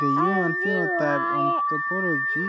The Human Phenotype Ontology